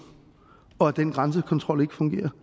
og at den grænsekontrol ikke fungerer